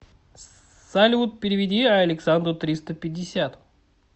салют переведи александру триста пятьдесят